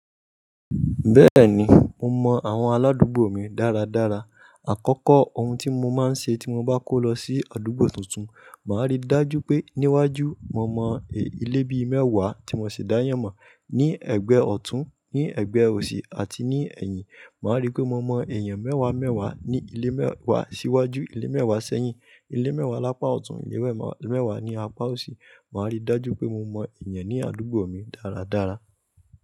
Bẹ́ẹ̀ni, mo mọ àwọn aládùúgbò mi dáradára. Àkọ́kọ́ ohun tí mo máa ń ṣe tí mo bá kó lọ sí àdúgbò tuntun, màá rí dájú pé níwájú mo mọ ilé bí mẹ́wàá tí mo ṣe dá yàn mọ̀. Ní ẹ̀gbẹ́ ọ̀tún, ní ẹ̀gbẹ́ òsì àti ní ẹ̀yìn. Màá rí pé mo mọ èèyàn mẹ́wàá mẹ́wàá ní ilé mẹ́wàá síwájú, ilé mẹ́wàá sẹ́yìn, ilé mẹ́wàá lápá ọ̀tún, ilé mẹ́wàá lápá òsì. Màá rí dájú pé mo mọ èèyàn ní àdúgbò mi dáradára.